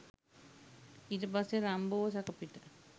ඊට පස්සේ රම්බෝව සැකපිට